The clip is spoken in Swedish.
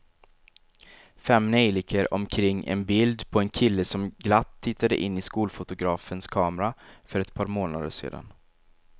Fem neljikor omkring ett bild på en kille som glatt tittade in i skolfotografens kamera för ett par månader sedan.